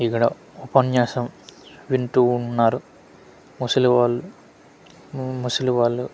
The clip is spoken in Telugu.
ఇక్కడ ఉపన్యాసం వింటూ ఉన్నారు ముసలి వాళ్లు హు ముసలి వాళ్లు--